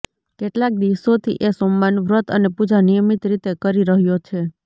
કેટલા દિવસોથી એ સોમવારનું વ્રત અને પૂજા નિયમિત રીતે કરી રહ્યો છે